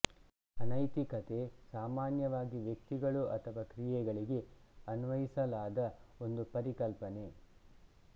ಅನೈತಿಕತೆ ಸಾಮಾನ್ಯವಾಗಿ ವ್ಯಕ್ತಿಗಳು ಅಥವಾ ಕ್ರಿಯೆಗಳಿಗೆ ಅನ್ವಯಿಸಲಾದ ಒಂದು ಪರಿಕಲ್ಪನೆ